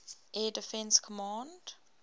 air defense command